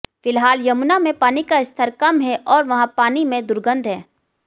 फिलहाल यमुना में पानी का स्तर कम है और वहां पानी में दुर्गंध है